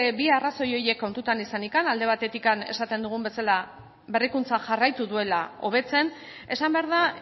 bi arrazoi horiek kontutan izanik alde batetik esaten dugun bezala berrikuntza jarraitu duela hobetzen esan behar da